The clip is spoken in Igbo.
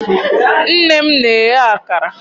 nne m na-eghe akara.